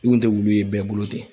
I kun te wulu ye bɛɛ bolo ten.